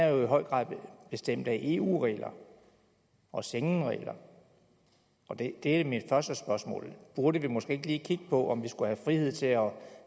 jo i høj grad er bestemt af eu regler og schengenregler det er mit første spørgsmål burde vi måske ikke lige kigge på om vi skulle have frihed til at